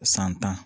San tan